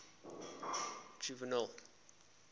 juvenal